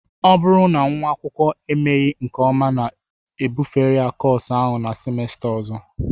Ọ bụrụ na nwa akwụkwọ emeghị nke ọma na-ebufere kọọsụ ahụ na simesta ọzọ